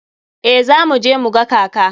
Eh za mu je mu ga kaka.